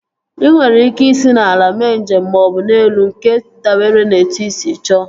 Ị nwere ike isi n'ala mee njem maọbụ n'elu nke dabere na etu ị sị chọọ